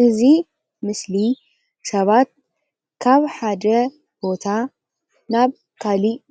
ንመጒዓዝያን ብፍላይ ን